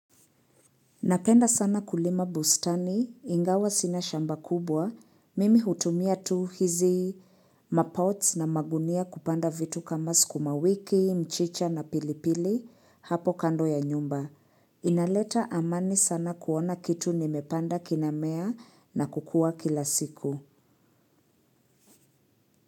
Napenda sana kulima bustani, ingawa sina shamba kubwa, mimi hutumia tu hizi mapots na magunia kupanda vitu kama sukumawiki, mchicha na pilipili hapo kando ya nyumba. Inaleta amani sana kuona kitu nimepanda kinamea na kukua kila siku.